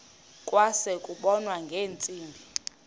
kwase kubonwa ngeentsimbi